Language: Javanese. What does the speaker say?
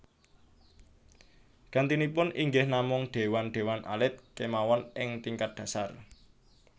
Gantinipun inggih namung déwan déwan alit kémawon ing tingkat dhasar